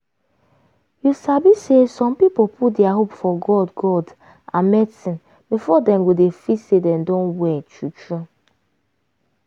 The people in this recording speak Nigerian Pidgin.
you sabi say some people put dia hope for god god and medicine before dem go dey feel say dem done well true true.